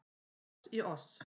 Foss í oss